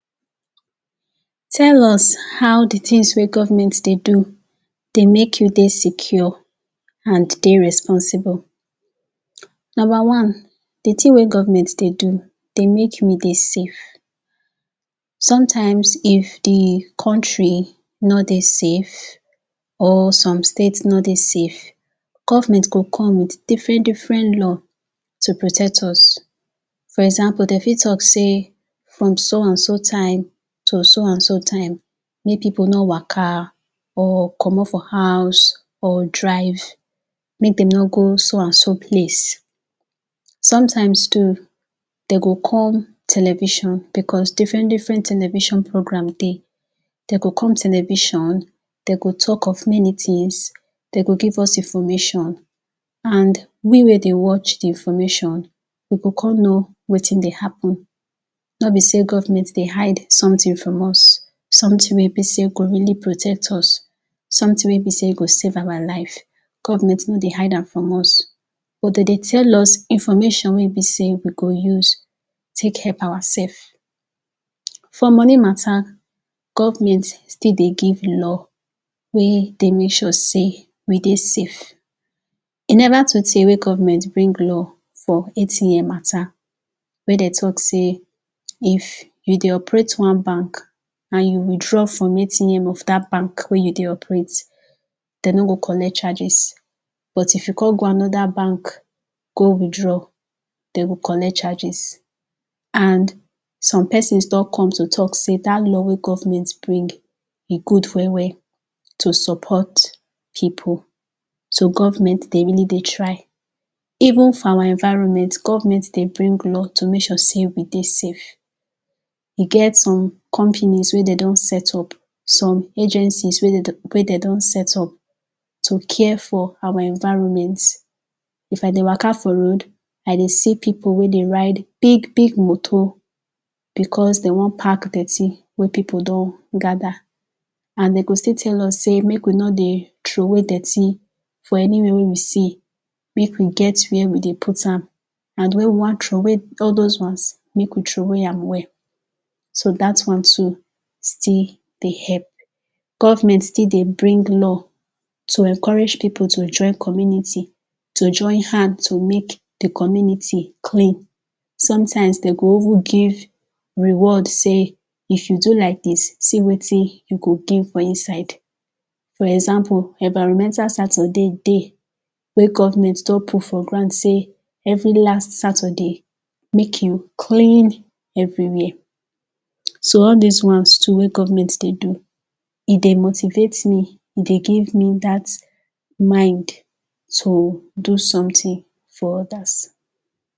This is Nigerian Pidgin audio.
Tell us how de things wey government dey do dey make you dey secure and dey responsible. Number one, de thing wey government dey do dey make me dey safe, sometimes if de country no dey safe or some states no dey safe, government go come with different different laws to protect us. For example, dem fit talk sey from so and so time to so and so time, make people no waka or comot for huz or drive, make dem no go so and so place. Sometimes too, dem go come television because different different television program dey, dem go come television, dem go talk of many things, dem go give us information and we wey dey watch de information, we go come know wetin de happen. No be sey government dey hide something from us, something wey be sey go really protect us, something wey be sey go save our life, government no dey hide am from us but dem dey tell us information wey be sey we go use take help our self. For money mata, government still dey give law wey dey make sure sey we dey safe, e neva too tey wey government bring law for ATM mata wey dem talk sey if you dey operate one bank and you withdraw from de ATM of dat bank wey you dey operate, dem no go collect charges but if you come go anoda bank go withdraw, dem go collect charges and some persons don come to talk sey dat law wey government bring, e good well well to support people so government dey really dey try. Even for our environment, government dey bring law to make sure sey we dey safe, e get some company wey dem don set up, some agencies wey dem don set up to care for our environment. If I dey waka for road, I dey see people wey dey ride big motor becos dem wan pack dirty wey people don gather and dem go still tell us sey make we no dey throw away dirty for anywhere wey we see, make we get where we dey put am and when we wan throw away all those ones, make we throw away am well, so dat one too still dey help. Government still dey bring law to encourage people to join community, to join hands to make de community clean, sometimes dem dey even give reward sey, if you do like dis, see wetin you go gain for inside. For example, environmental Saturday dey wey government don put for ground sey every last Saturday, make you clean everywhere. So all dis ones too wey government dey do, e dey motivate me, e dey give me dat mind to do something for others.